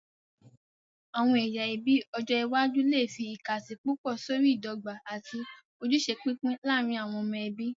Àwọn ẹyà ẹbí ọjọ iwájú lè fi ìkàsí púpọ̀ sórí ìdọ́gba àti ojúṣe pípín láàárín àwọn ọmọ ẹbí.